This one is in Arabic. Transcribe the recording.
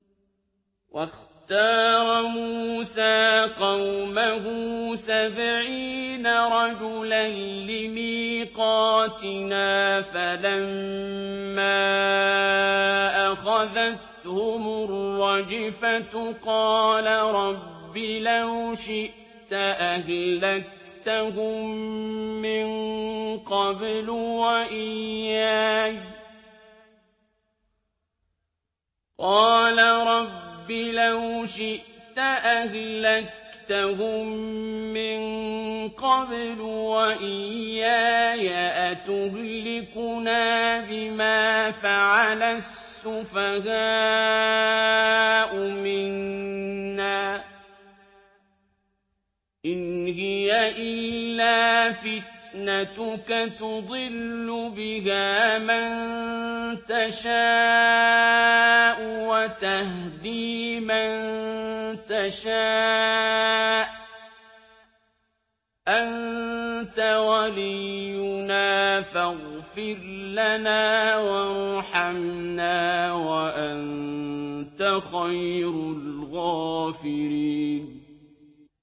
وَاخْتَارَ مُوسَىٰ قَوْمَهُ سَبْعِينَ رَجُلًا لِّمِيقَاتِنَا ۖ فَلَمَّا أَخَذَتْهُمُ الرَّجْفَةُ قَالَ رَبِّ لَوْ شِئْتَ أَهْلَكْتَهُم مِّن قَبْلُ وَإِيَّايَ ۖ أَتُهْلِكُنَا بِمَا فَعَلَ السُّفَهَاءُ مِنَّا ۖ إِنْ هِيَ إِلَّا فِتْنَتُكَ تُضِلُّ بِهَا مَن تَشَاءُ وَتَهْدِي مَن تَشَاءُ ۖ أَنتَ وَلِيُّنَا فَاغْفِرْ لَنَا وَارْحَمْنَا ۖ وَأَنتَ خَيْرُ الْغَافِرِينَ